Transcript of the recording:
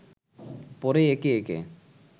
পরে একে একে